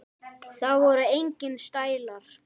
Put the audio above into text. Það voru engir stælar.